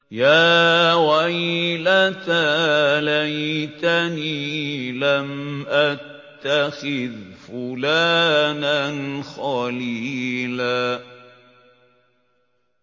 يَا وَيْلَتَىٰ لَيْتَنِي لَمْ أَتَّخِذْ فُلَانًا خَلِيلًا